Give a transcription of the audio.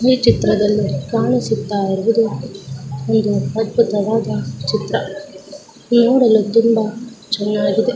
ಈ ಚಿತ್ರದಲ್ಲಿ ಕಾಣಿಸುತ್ತಾ ಇರುವುದು ಇಲ್ಲಿ ಅದ್ಭುತವಾದ ಚಿತ್ರ ನೋಡಲು ತುಂಬಾ ಚೆನ್ನಾಗಿದೆ.